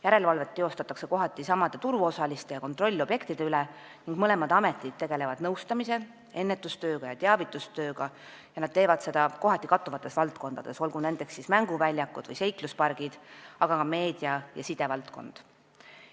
Järelevalvet tehakse kohati samade turuosaliste ja kontrolliobjektide üle ning mõlemad ametid tegelevad nõustamise ja ennetus- ja teavitustööga ning nad teevad seda kohati kattuvates valdkondades, olgu nendeks siis mänguväljakud või seikluspargid, aga ka meedia ja sidevaldkond.